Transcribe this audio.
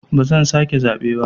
Ba zan sake zaɓe ba.